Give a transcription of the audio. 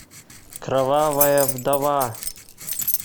кровавая вдова